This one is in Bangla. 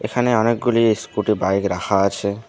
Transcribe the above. এখানে অনেকগুলি স্কুটি বাইক রাখা আছে।